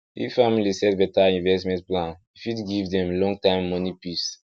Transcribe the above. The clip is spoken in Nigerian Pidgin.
if family set better investment plan e fit give dem long time moni peace